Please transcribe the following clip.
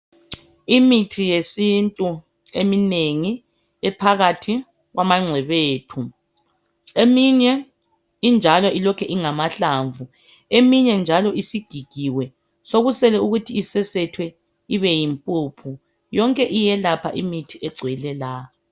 Imithi yesintu eminengi iphakathi kwengcebethu. Eminye injalo ilokhe ingamahlamvu. Eminye isigigiwe sokusele ukuthi isesethwe ibe yimpuphu. Yonke iyelapha imithi elapha